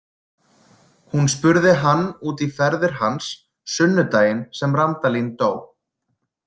Hún spurði hann út í ferðir hans sunnudaginn sem Randalín dó.